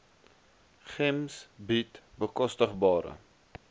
gems bied bekostigbare